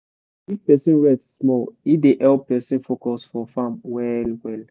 if person rest small e dey help person focus for farm well well